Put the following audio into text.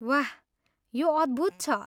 वाह, यो अद्भुत छ।